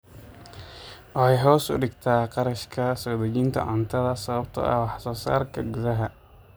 Waxay hoos u dhigtaa kharashka soo dejinta cuntada sababtoo ah wax soo saarka gudaha.